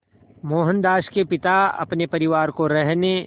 मोहनदास के पिता अपने परिवार को रहने